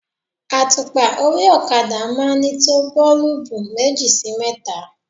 Àtùpà orí okada máa ń ní tó boolubu méjì sí mẹ́ta.